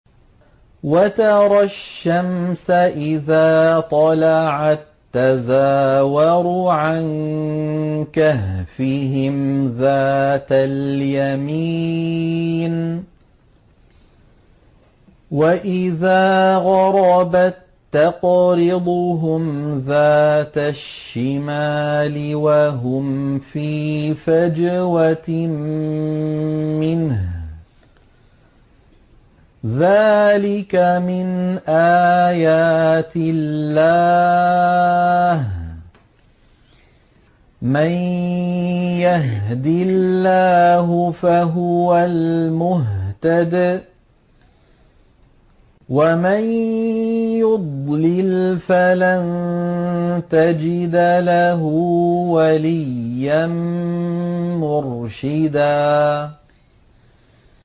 ۞ وَتَرَى الشَّمْسَ إِذَا طَلَعَت تَّزَاوَرُ عَن كَهْفِهِمْ ذَاتَ الْيَمِينِ وَإِذَا غَرَبَت تَّقْرِضُهُمْ ذَاتَ الشِّمَالِ وَهُمْ فِي فَجْوَةٍ مِّنْهُ ۚ ذَٰلِكَ مِنْ آيَاتِ اللَّهِ ۗ مَن يَهْدِ اللَّهُ فَهُوَ الْمُهْتَدِ ۖ وَمَن يُضْلِلْ فَلَن تَجِدَ لَهُ وَلِيًّا مُّرْشِدًا